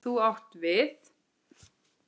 Þú átt við.